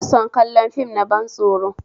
Ina son kallon fim na ban tsoro